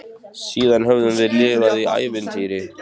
Og nú mundi jafnvel hún gleymast, gleymskan sjálf.